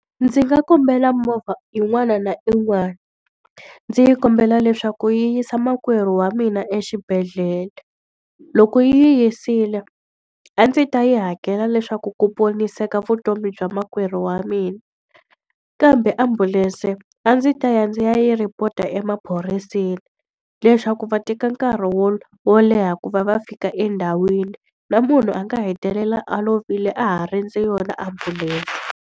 Ndzi nga kombela movha yin'wana na yin'wana, ndzi kombela leswaku yi yisa makwerhu wa mina exibedhlele. Loko yi n'wi yisile, a ndzi ta yi hakela leswaku ku poniseka vutomi bya makwerhu wa mina. Kambe ambulense a ndzi ta ya ndzi ya yi report-a emaphoriseni leswaku va teka nkarhi wo wo leha ku va va fika endhawini. Na munhu a nga hetelela a lovile a ha rindze yona ambulense.